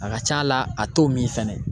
A ka ca la a t'o min fɛnɛ